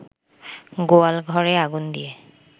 গোয়াল ঘরে আগুন দিয়ে